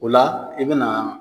O la i bɛ na